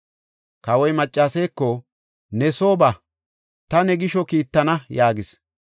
Kawoy maccaseeko, “Ne soo ba; ta ne gisho kiittana” yaagis.